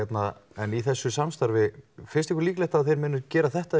en í þessu samstarfi finnst ykkur líklegt að þau munu gera þetta